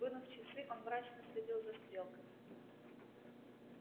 вынув часы он мрачно следил за стрелками